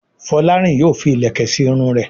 Folarin yóò fí ilẹkẹ sí Irun rẹ.